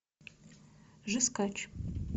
жесткач